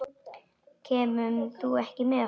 Kemur þú ekki með okkur?